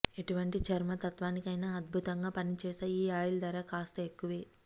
ఎటువంటి చర్మ తత్వానికైన అద్భుతంగా పనిచేసే ఈ ఆయిల్ ధర కూడా కాస్త ఎక్కువే